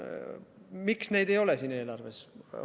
Miks neid ei ole siin eelarves?